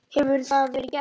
Hefur það verið gert?